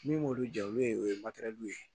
Min b'olu jɛ olu ye o ye ye